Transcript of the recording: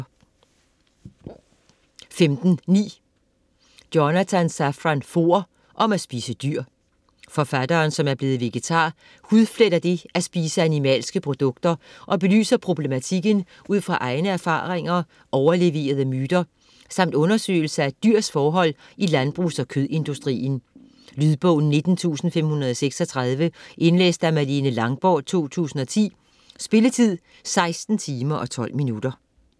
15.9 Foer, Jonathan Safran: Om at spise dyr Forfatteren, som er blevet vegetar, hudfletter det at spise animalske produkter og belyser problematikken ud fra egne erfaringer, overleverede myter samt undersøgelser af dyrs forhold i landbrugs- og kødindustrien. Lydbog 19536 Indlæst af Malene Langborg, 2010. Spilletid: 16 timer, 12 minutter.